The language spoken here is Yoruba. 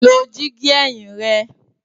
Lo digi ẹhin rẹ!